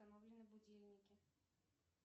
установлены будильники